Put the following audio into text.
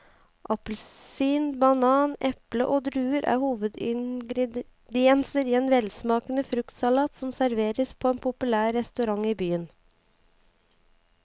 Appelsin, banan, eple og druer er hovedingredienser i en velsmakende fruktsalat som serveres på en populær restaurant i byen.